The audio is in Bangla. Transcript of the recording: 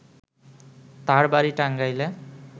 তার বাড়ি টাঙ্গাইলে